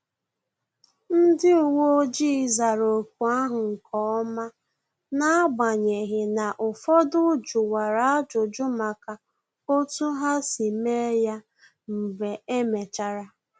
Ndị uwe ojii zara ọkụ ahụ nkeọma, n'agbanyeghị na-ụfọdụ juwara ajụjụ maka otu ha si mee ya mgbe emechara